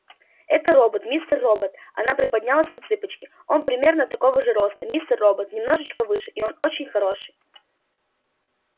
это робот мистер робот она приподнялась на цыпочки он примерно такого же роста мистер робот немножечко выше и он очень хороший